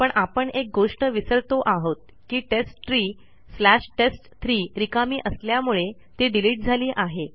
पण आपण एक गोष्ट विसरतो आहोत की टेस्टट्री स्लॅश टेस्ट3 रिकामी असल्यामुळे ती डिलीट झाली आहे